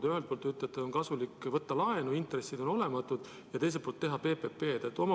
Te ühelt poolt ütlete, et kasulik on võtta laenu, intressid on olematud, ja teiselt poolt teha PPP-d.